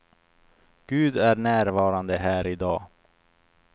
Gud är närvarande här i dag.